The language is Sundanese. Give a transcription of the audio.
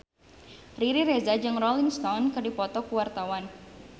Riri Reza jeung Rolling Stone keur dipoto ku wartawan